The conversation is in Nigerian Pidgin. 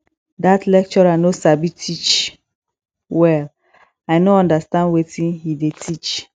dat lecturer no sabi teach well i no understand wetin he dey teach